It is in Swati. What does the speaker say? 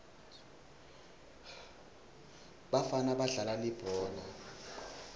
bafana badlala libhola